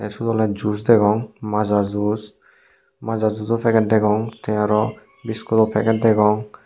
sot ole juse degong maja juse maja jujo paged degong te araw biscuto paged degong.